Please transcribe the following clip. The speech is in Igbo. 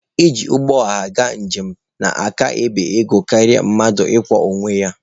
Iji ụgbọ ọha gaa njem na-aka ebe ego karịa mmadụ ịkwọ onwe ya.